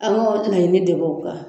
An ka o laɲini de b'o ban.